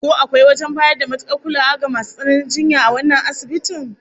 Ko akwai wajen bayar da matukar kulawa ga masu tsananin jinya a wannan asibitin?